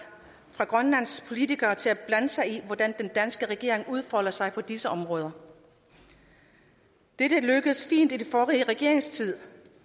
fra grønlands politikere til at blande sig i hvordan den danske regering udfolder sig på disse områder dette lykkedes fint i den forrige regerings tid